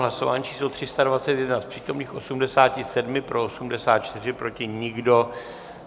Hlasování číslo 321, z přítomných 87 pro 84, proti nikdo.